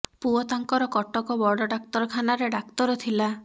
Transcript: ପୁଅ ତାଙ୍କର କଟକ ବଡ଼ ଡାକ୍ତର ଖାନାରେ ଡାକ୍ତର ଥିଲା